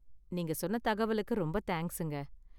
நீங்க சொன்ன தகவலுக்கு ரொம்ப தேங்க்ஸுங்க.